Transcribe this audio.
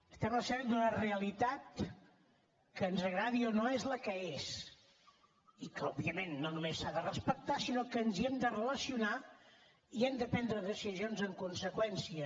estem a l’escenari d’una realitat que ens agradi o no és la que és i que òbviament no només s’ha de respectar sinó que ens hi hem de relacionar i hem de prendre decisions en conseqüència